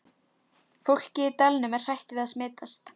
Fólkið í dalnum er hrætt við að smitast.